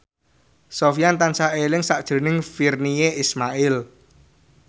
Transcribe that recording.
Sofyan tansah eling sakjroning Virnie Ismail